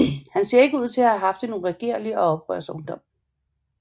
Han ser ud til at have haft en uregerlig og oprørsk ungdom